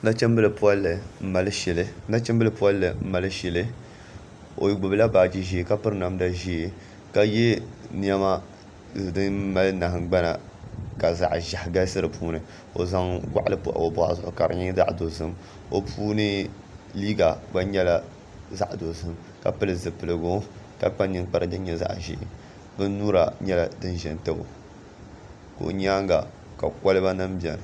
Nachimbili polli n mali shili o gbubila baaji ʒiɛ ka piri namda ʒiɛ o yɛla niɛma din mali nahangbana ka zaɣ ʒiɛhi galisi di puuni o zaŋ goɣali pa o boɣu zuɣu ka di nyɛ zaɣ dozim o puuni liiga gba nyɛla zaɣ dozim ka pili zipiligu ka kpa ninkpara din nyɛ zaɣ ʒiɛ bin nyura nyɛla din ƶɛ n tabo ka o nyanga ka kolba nim biɛni